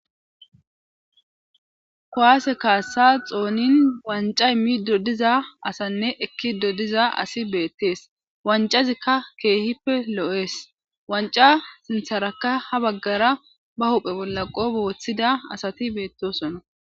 Kowaase kaassa xoonin wanca immi dodiza asanne ekki dodiza asi beettees wancazikka keehippe lo7ees wanca sintharakka ha baggara ba hophe bolla qo booththida asati beettosona.